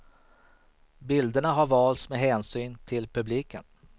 Bilderna har valts med hänsyn till publiken.